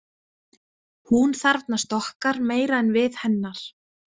Hún þarfnast okkar meira en við hennar.